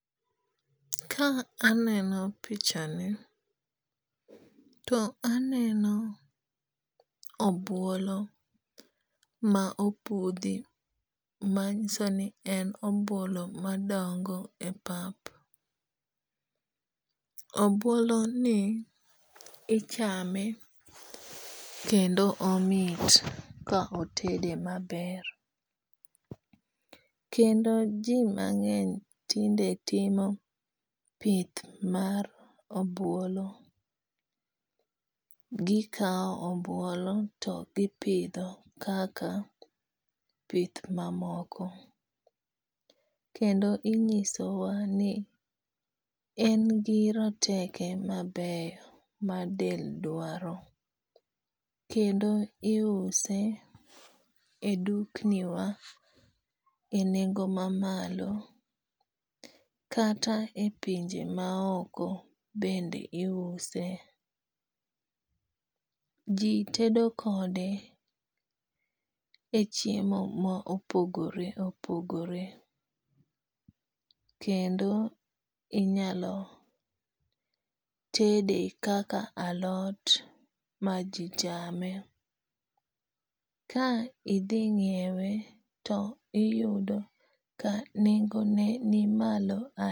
Ka aneno pichani, to aneno obwolo ma opudhi manyiso ni en obwolo madongo e pap. Obwoloni ichame kendo omit ka otede maber, kendo ji mang'eny tinde timo pith mar obwolo, gikawo obwolo to gipidho kaka pith mamoko, kendo inyisowa ni en gi rateke mabeyo ma del dwaro, kendo iuse e dukniwa e nengo mamalo, kata e pinje maoko bende iuse . Ji tedo kode e chiemo ma opogore opogore kendo inyalo tede kaka alot ma ji chame. Ka idhi ng'iewe to iyudo ka nengone ni malo ahinya.